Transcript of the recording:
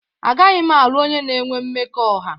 Agaghị m alụ onye na-enwe mmekọahụ